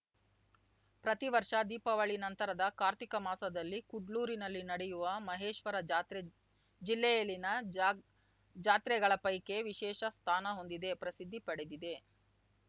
ಪ್ರತಿವರ್ಷ ದೀಪಾವಳಿ ನಂತರದ ಕಾರ್ತಿಕ ಮಾಸದಲ್ಲಿ ಕುಡ್ಲೂರಿನಲ್ಲಿ ನಡೆಯುವ ಮಹೇಶ್ವರ ಜಾತ್ರೆ ಜಿಲ್ಲೆಯಲ್ಲಿನ ಜಾತ್ ಜಾತ್ರೆಗಳ ಪೈಕಿ ವಿಶೇಷ ಸ್ಥಾನ ಹೊಂದಿದೆ ಪ್ರಸಿದ್ಧಿ ಪಡೆದಿದೆ